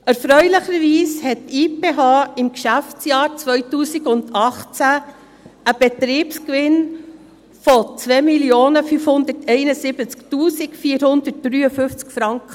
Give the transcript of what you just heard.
Erfreulicherweise realisierte die IPH im Geschäftsjahr 2018 einen Betriebsgewinn von 2 571 453 Franken.